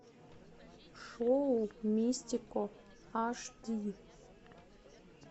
шоу мистико аш ди